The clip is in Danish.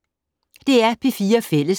DR P4 Fælles